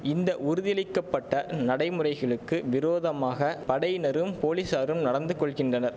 இந்த உறுதியளிக்க பட்ட நடைமுறைகளுக்கு விரோதமாக படையினரும் போலிஸாரும் நடந்து கொள்கின்றனர்